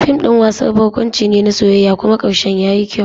Fim ɗin wasan barkwanci ne na soyayya kuma karshen yayi kyau.